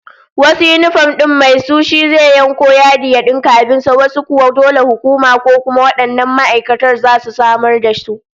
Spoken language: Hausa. Wasu yinifom din mai su shi zai yanko yadi ya dinka abin sa, wasu kuwa dole hukuma ko kuma wannan ma'aikatar su zasu samar da su.